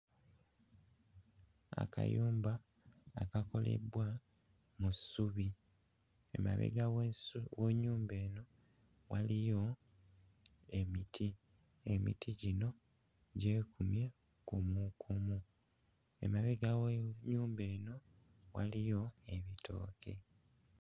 Akayumba akakolebbwa mu ssubi, emabega w'esu w'ennyumba eno waliyo emiti, emiti gino gyekumye kumukumu, emabega w'ennyumba eno waliyo ebitooke.